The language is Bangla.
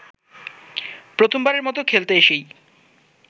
প্রথমবারের মতো খেলতে এসেই